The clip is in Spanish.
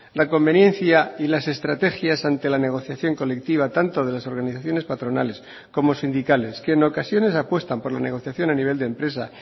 la conveniencia y las estrategias ante la negociación colectiva tanto de las organizaciones patronales como sindicales que en ocasiones apuestan por la negociación a nivel de empresa